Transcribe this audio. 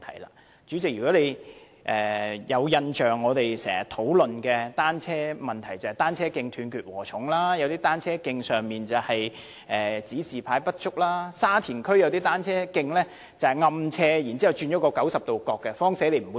代理主席，我們經常討論有關單車的問題，是單車徑"斷截禾蟲"；有些單車徑指示牌不足；沙田區有些單車徑存在暗斜然後轉90度角，踏單車者容易撞牆。